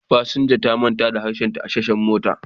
Fasinja ta manta harshenta a tashar mota